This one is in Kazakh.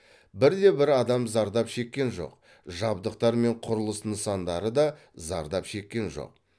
бір де бір адам зардап шеккен жоқ жабдықтар мен құрылыс нысандары да зардап шеккен жоқ